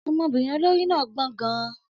Ọmọbìnrin olórí náà gbọ́n gan-an.